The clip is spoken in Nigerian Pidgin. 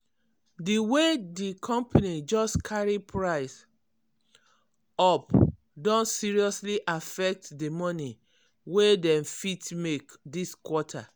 di way di company just carry price up don seriously affect di money wey dem fit make this quarter.